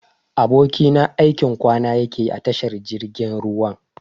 Abokina aikin kwana yakeyi a tashar jirgin ruwan.